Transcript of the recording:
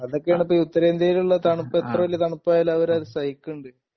അതൊക്കെയാണ് ഇപ്പോ ഉത്തരേന്ത്യയിലുള്ള തണുപ്പ് എത്ര വലിയ തണുപ്പായാലും അവരത് സഹിക്കണുണ്ട്